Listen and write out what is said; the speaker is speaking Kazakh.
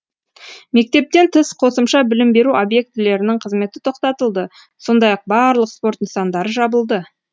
мектептен тыс қосымша білім беру объектілерінің қызметі тоқтатылды сондай ақ барлық спорт нысандары жабылды